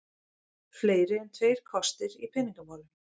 Fleiri en tveir kostir í peningamálum